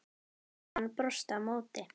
Hermann brosti á móti.